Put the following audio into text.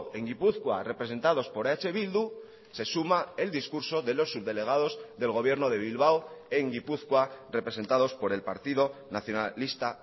en gipuzkoa representados por eh bildu se suma el discurso de los subdelegados del gobierno de bilbao en gipuzkoa representados por el partido nacionalista